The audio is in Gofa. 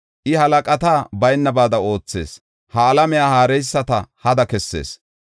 I, halaqata baynabaada oothees; ha alamiya haareyisata hada kessees.